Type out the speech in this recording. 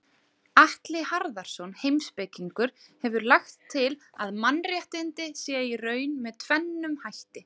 Atli Harðarson heimspekingur hefur lagt til að mannréttindi séu í raun með tvennum hætti.